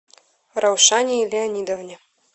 раушании леонидовне